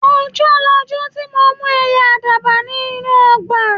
Ọjọ́ lọjọ́ ti mo mú ẹyẹ àdàbà ní inú ọgbà